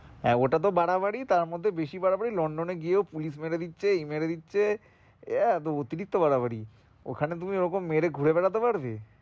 হ্যাঁ ওটা তো বাড়াবাড়ি তার মধ্যে বেশি বাড়াবাড়ির লন্ডনে গিয়েও police মেরে দিচ্ছে এই মেরে দিচ্ছে আহ অতিরিক্ত বাড়াবাড়ি ওখানে তুমি ওই রকম মেরে ঘুরে বেড়াতে পারবে?